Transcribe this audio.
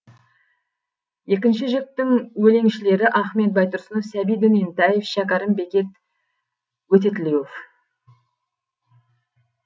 екінші жіктің өлеңшілері ахмет байтұрсынов сәбит дөнентаев шәкәрім бекет өтетілеуов